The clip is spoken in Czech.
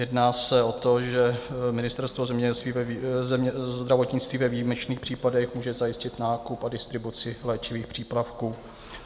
Jedná se o to, že Ministerstvo zdravotnictví ve výjimečných případech může zajistit nákup a distribuci léčivých přípravků.